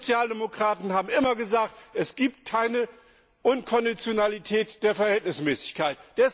Wir Sozialdemokraten haben immer gesagt, es gibt keine Unkonditionalität der Verhältnismäßigkeit.